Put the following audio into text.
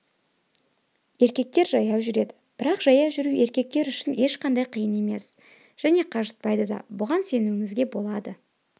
еркектер жаяу жүреді бірақ жаяу жүру еркектер үшін ешқандай қиын емес және қажытпайды да бұған сенуіңізге болады